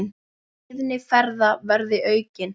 Tíðni ferða verði aukin.